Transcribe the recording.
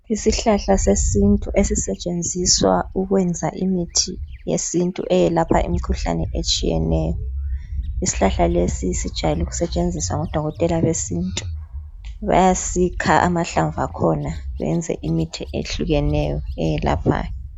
Isihlahla sesintu ezisetshenziswa ukwenza imithi yesintu eyelapha imikhuhlane etshiyeneyo. Isihlahla lesi sijayelwe ukusebenziswa ngodokotela besintu bayasikha amahlamvu akhona beze imithi ehlukeneyo eyelaphayo.